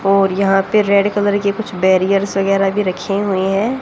और यहां पे रेड कलर के कुछ बैरियर्स वगैरह भी रखे हुए हैं।